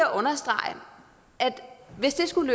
at understrege at hvis det skulle